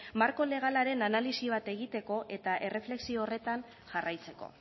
marko legalaren analisi bat egiteko eta erreflexio horretan jarraitzeko